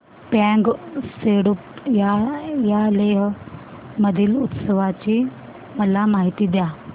फ्यांग सेडुप या लेह मधील उत्सवाची मला माहिती द्या